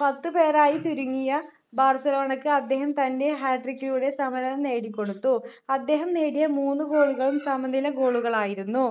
പത്തു പേരായി ചുരുങ്ങിയ ബാർസലോണക്ക് അദ്ദേഹം തൻ്റെ hatric കിലൂടെ സമനില നേടിക്കൊടുത്തു അദ്ദേഹം നേടിയ മൂന്നു goal കളും സമനില goal കളായിരുന്നു